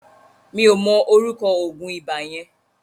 Mi ò mọ ọrúkọ òògùn ibà yẹn.